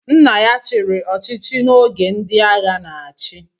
Nna ya chiri ọchịchị na oge ndị agha n'achi